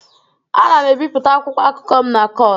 Ana m ebipụta akwụkwọ akụkọ m na kord.